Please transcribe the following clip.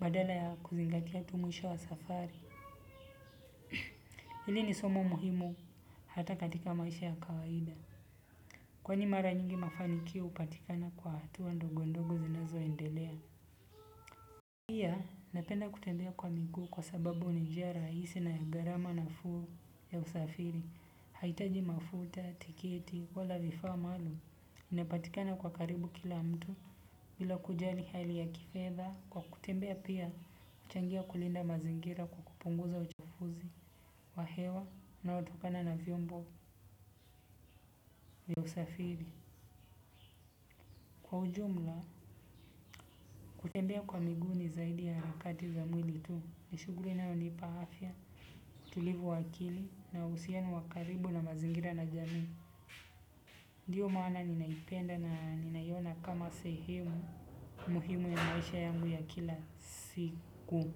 Badala ya kuzingatia tu mwisho wa safari. Hili ni somo muhimu hata katika maisha ya kawaida. Kwani mara nyingi mafanikio hupatikana kwa hatua ndogo ndogo zinazoendelea. Pia napenda kutembea kwa miguu kwa sababu ni njia rahisi na ya gharama nafuu ya usafiri. Haitaji mafuta, tiketi, wala vifaa maalum. Inapatikana kwa karibu kila mtu. Bila kujali hali ya kifedha, kwa kutembea pia huchangia kulinda mazingira kwa kupunguza uchafuzi wa hewa unaotokana na vyombo vya usafiri. Kwa ujumla, kutembea kwa miguu ni zaidi ya harakati za mwili tu. Ni shughuli inayonipa afya, utulivu wa akili na uhusiano wa karibu na mazingira na jamii. Ndiyo maana ninaipenda na ninaiona kama sehemu muhimu ya maisha yangu ya kila siku.